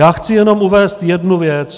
Já chci jenom uvést jednu věc.